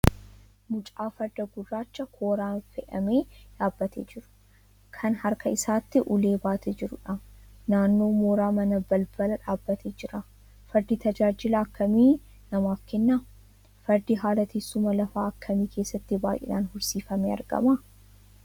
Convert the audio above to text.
Mucaa Farda gurraacha kooraan fe'ame yaabbatee jiru, kan harka isaatti ulee baatee jirudha. Naannoo mooraa manaa balbala dhaabbatee jira. Fardi tajaajila akkamii namaaf kenna? Fardi haala teessuma lafaa akkamii keessatti baay'inaan horsiifamee argama?